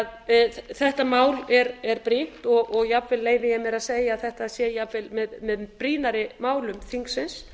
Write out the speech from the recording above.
ekki þetta mál er því brýnt og jafnvel leyfi ég mér að segja að þetta sé jafnvel með brýnni málum þingsins